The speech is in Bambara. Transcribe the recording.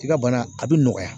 I ka bana a bi nɔgɔya.